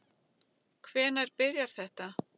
Hvenær byrjaði þetta?